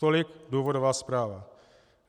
Tolik důvodová zpráva.